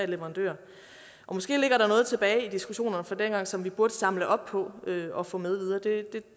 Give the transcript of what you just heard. leverandører og måske ligger der noget tilbage i diskussionerne fra dengang som vi burde samle op på og få med videre det